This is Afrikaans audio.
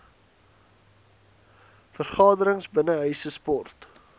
vergaderings binnenshuise sport